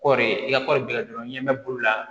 Kɔɔri i ka kɔɔri bɛ kɛ dɔrɔn n ɲɛ bɛ bolola